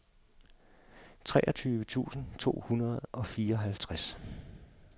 treogtyve tusind to hundrede og fireoghalvtreds